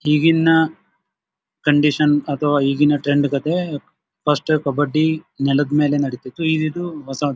ಹೀಗಿನ condition ಅಥವಾ ಈಗಿನ trend ಕಥೆ ಫಸ್ಟ್ ಕಬ್ಬಡ್ಡಿ ನೆಲದ ಮೇಲೆ ನಡೀತಾ ಇತ್ತು ಈಗ ಇದು ಹೊಸದು.